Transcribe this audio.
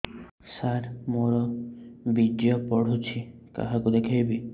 ସାର ମୋର ବୀର୍ଯ୍ୟ ପଢ଼ୁଛି କାହାକୁ ଦେଖେଇବି